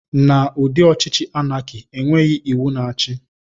Na ụdị ọchịchị anaki, enweghị iwu na-achi.